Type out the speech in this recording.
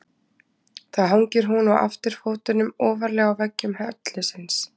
Þá hangir hún á afturfótunum ofarlega á veggjum hellisins.